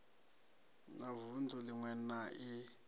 na vunḓu ḽiṅwe na i